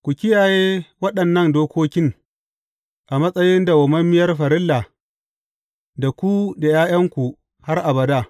Ku kiyaye waɗannan dokokin a matsayin dawwammamiyar farilla, da ku da ’ya’yanku har abada.